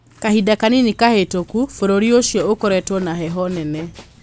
Kahinda kanini kahĩtũku bũrũri ũcio ũkoretwo na heho nene.